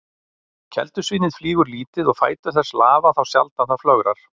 Keldusvínið flýgur lítið og fætur þess lafa þá sjaldan það flögrar.